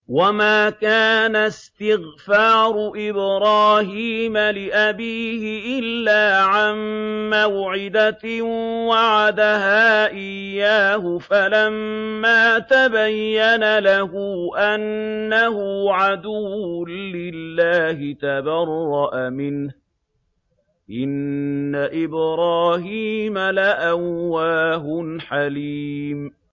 وَمَا كَانَ اسْتِغْفَارُ إِبْرَاهِيمَ لِأَبِيهِ إِلَّا عَن مَّوْعِدَةٍ وَعَدَهَا إِيَّاهُ فَلَمَّا تَبَيَّنَ لَهُ أَنَّهُ عَدُوٌّ لِّلَّهِ تَبَرَّأَ مِنْهُ ۚ إِنَّ إِبْرَاهِيمَ لَأَوَّاهٌ حَلِيمٌ